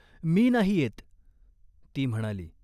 "मी नाही येत !" ती म्हणाली.